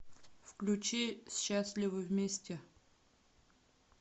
включи счастливы вместе